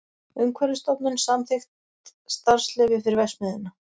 Umhverfisstofnun samþykkt starfsleyfi fyrir verksmiðjuna